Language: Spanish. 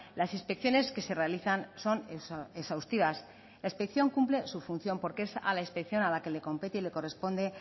las inspecciones que se realizan son exhaustivas la inspección cumple su función porque es a la inspección a la que le compete y le corresponde